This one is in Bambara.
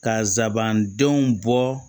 Kasabandenw bɔ